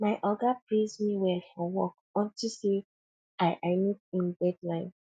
my oga praise me well for work unto say i i meet im deadline